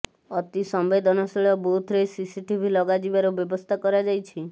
ଅତି ସମ୍ବେଦନଶୀଳ ବୁଥରେ ସିସିଟିଭି ଲଗା ଯିବାର ବ୍ୟବସ୍ଥା କରାଯାଇଛି